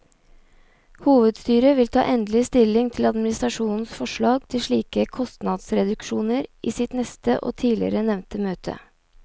Hovedstyret vil ta endelig stilling til administrasjonens forslag til slike kostnadsreduksjoner i sitt neste og tidligere nevnte møte.